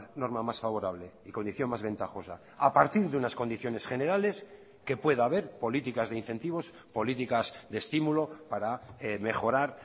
norma más favorable y condición más ventajosa a partir de unas condiciones generales que pueda haber políticas de incentivos políticas de estímulo para mejorar